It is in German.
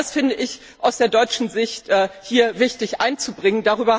Das finde ich aus deutscher Sicht hier wichtig einzubringen.